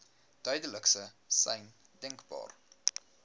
duidelikste sein denkbaar